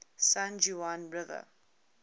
san juan river